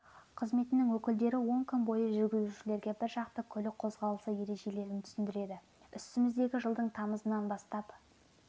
қызметінің өкілдері он күн бойы жүргізушілерге біржақты көлік қозғалысы ережелерін түсіндіреді үстіміздегі жылдың тамызынан бастап